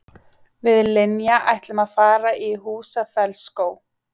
Við Linja ætlum að fara í Húsafellsskóg.